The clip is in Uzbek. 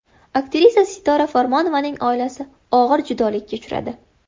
Aktrisa Sitora Farmonovaning oilasi og‘ir judolikka uchradi.